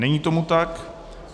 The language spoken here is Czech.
Není tomu tak.